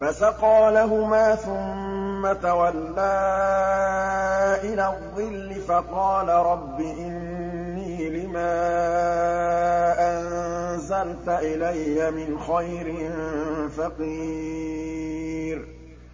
فَسَقَىٰ لَهُمَا ثُمَّ تَوَلَّىٰ إِلَى الظِّلِّ فَقَالَ رَبِّ إِنِّي لِمَا أَنزَلْتَ إِلَيَّ مِنْ خَيْرٍ فَقِيرٌ